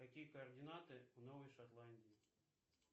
какие координаты у новой шотландии